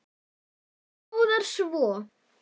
En hvað með litina?